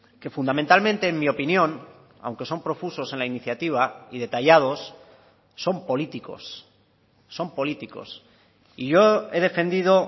que fundamentalmente en mi opinión aunque son profusos en la iniciativa y detallados son políticos son políticos y yo he defendido